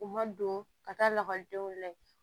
U ma don ka taa lakɔlidenw layɛ